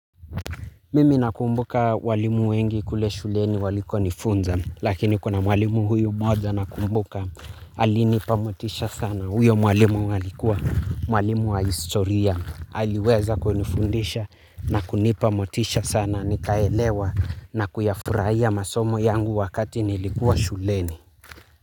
Mimi nakumbuka walimu wengi kule shuleni walikonifunza lakini kuna mwalimu huyu mmoja nakumbuka alinipa motisha sana huyo walimu alikuwa mwalimu wa historia aliweza kunifundisha na kunipa motisha sana nikaelewa na kuyafurahia masomo yangu wakati nilikuwa shuleni.